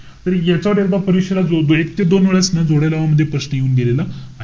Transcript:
तर याच्यावर एकदा परीक्षेला जवळजवळ एक ते दोन वेळेस न जोड्या लावा मध्ये प्रश्न येऊन गेलेला,